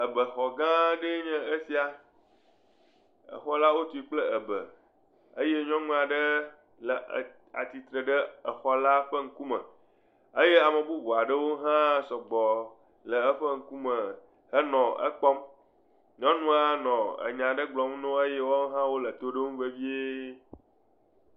Ebexɔ gã aɖe nye esia, exɔ la wotui kple ebe, eye nyɔnu aɖe le atsitre ɖe exɔ la ƒe ŋkume eye ame bubu aɖewo hã sɔgbɔ le eƒe ŋkume henɔ ekpɔm. Nyɔnua nɔ enya ɖe gblɔm newo eye woawo hã nɔ to ɖom vevie.